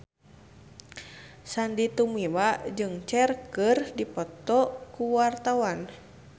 Sandy Tumiwa jeung Cher keur dipoto ku wartawan